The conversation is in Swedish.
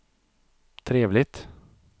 trevligt